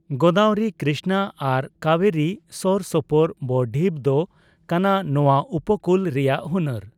ᱜᱳᱫᱟᱵᱚᱨᱤ, ᱠᱨᱤᱥᱱᱟ ᱟᱨ ᱠᱟᱵᱮᱨᱤ ᱥᱳᱨ ᱥᱳᱯᱳᱨ ᱵᱚᱼᱰᱷᱤᱯ ᱫᱚ ᱠᱟᱱᱟ ᱱᱚᱣᱟ ᱩᱯᱚᱠᱩᱞ ᱨᱮᱭᱟᱜ ᱦᱩᱱᱟᱹᱨ ᱾